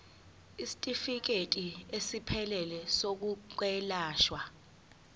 isitifikedi esiphelele sezokwelashwa